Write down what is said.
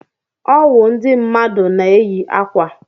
Ọwụ ndị mmadụ na-eyi ákwà.